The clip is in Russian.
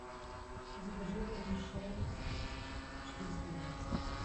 закажи вермишель четыреста грамм